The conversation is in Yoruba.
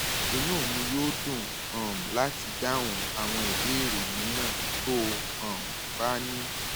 inú mi yóò dùn um láti dáhùn àwọn ìbéèrè mìíràn tó o um bá ní